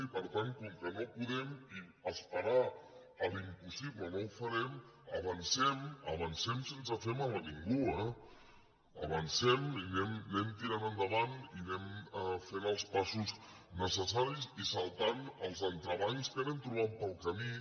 i per tant com que no podem i es·perar l’impossible no ho farem avancem avancem sense fer mal a ningú eh avancem i anem tirant endavant i anem fent els passos necessaris i saltant els entrebancs que anem trobant pel camí